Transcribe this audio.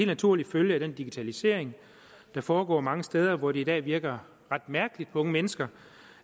naturlig følge af den digitalisering der foregår mange steder hvor det i dag virker ret mærkeligt på unge mennesker